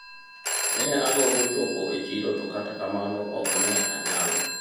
ne agombo chopo e chiro to kata kamano ok ne anyalo